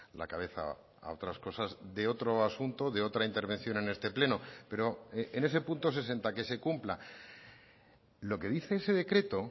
la cabeza a otras cosas de otro asunto de otra intervención en este pleno pero en ese punto sesenta que se cumpla lo que dice ese decreto